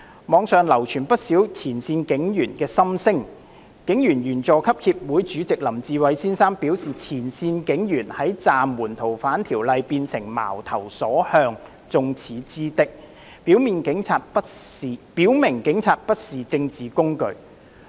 網上流傳不少前線警員的心聲，香港警察隊員佐級協會主席林志偉先生表示，前線警員在暫緩修訂《逃犯條例》後變成矛頭所向、眾矢之的，表明警察不是政治工具。